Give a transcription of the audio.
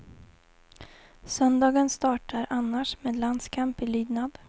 Söndagen startar annars med landskamp i lydnad.